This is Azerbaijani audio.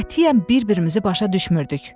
Qətiyyən bir-birimizi başa düşmürdük.